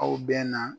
Aw bɛn na